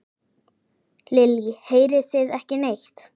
Lillý: Heyrið þið ekki neitt?